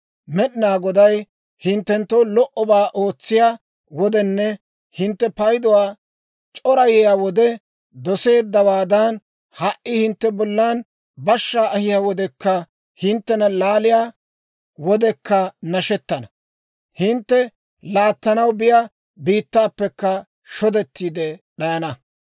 Med'inaa Goday hinttenttoo lo"obaa ootsiyaa wodenne hintte payduwaa c'orayiyaa wode doseeddawaadan, ha"i hintte bollan bashshaa ahiyaa wodekka hinttena laaliyaa wodekka nashettana; hintte laattanaw biyaa biittaappekka shodettiide d'ayana.